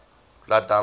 blood diamonds